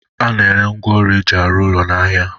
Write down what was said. A na-ere ngwaọrụ e ji arụ ụlọ n'ahịa